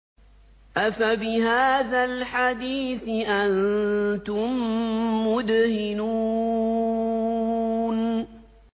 أَفَبِهَٰذَا الْحَدِيثِ أَنتُم مُّدْهِنُونَ